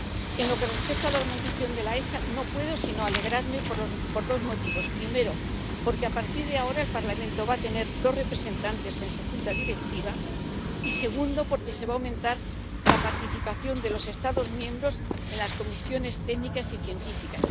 En lo que respecta a la organización de la EFSA, no puedo sino alegrarme por dos motivos primero, porque a partir de ahora el Parlamento va a tener dos representantes en su Junta Directiva, y, segundo, porque se va a aumentar la participación de los Estados miembros en las comisiones técnicas y científicas.